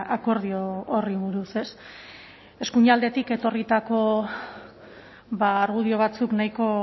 akordio horri buruz ez eskuinaldetik etorritako argudio batzuk nahiko